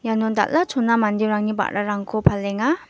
iano dal·a chona manderangni ba·rarangko palenga.